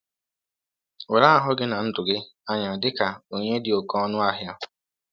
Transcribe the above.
Were ahụ gị na ndụ gị anya dị ka onyinye dị oké ọnụ ahịa.